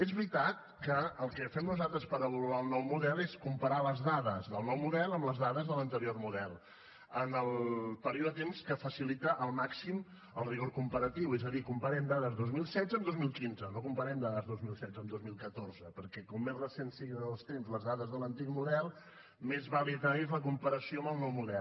és veritat que el que fem nosaltres per avaluar el nou model és comparar les dades del nou model amb les dades de l’anterior model en el període de temps que facilita al màxim el rigor comparatiu és a dir comparem dades dos mil setze amb dos mil quinze no comparem dades dos mil setze amb dos mil catorze perquè com més recents siguin els temps les dades de l’antic model més vàlida és la comparació amb el nou model